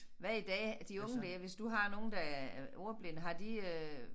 Hvad i dag de unge dér hvis du har nogle der er ordblinde har de øh